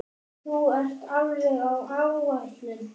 Þú ert alveg á áætlun.